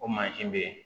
O mansin bɛ yen